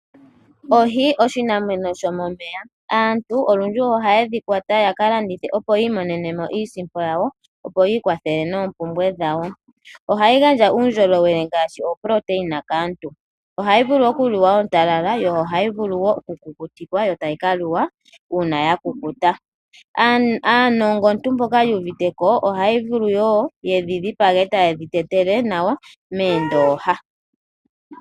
Oohi oshinamwenyo shomomeya. Aantu olundji ohaye dhi kwata ya ka landithe, opo yi imonene mo iisimpo yawo, opo yi ikwathele noompumbwe dhawo. Ohayi gandja uundjolowele ngaashi oproteina kaantu. Ohayi vulu okuliwa ontalala, yo ohayi vulu wo okukukutikwa yo tayi ka liwa ya kukuta. Aanongontu mboka yu uvite ko ohaya vulu wo okudhi dhipaga e taye dhi tetele nawa moondooha.